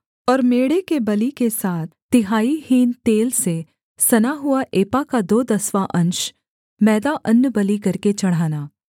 और मेढ़े के बलि के साथ तिहाई हीन तेल से सना हुआ एपा का दो दसवाँ अंश मैदा अन्नबलि करके चढ़ाना